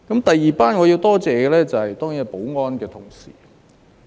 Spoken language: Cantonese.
第二班我要多謝的，當然是負責保安工作的同事。